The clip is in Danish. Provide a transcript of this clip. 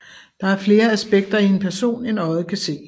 Der er flere aspekter i en person end øjet kan se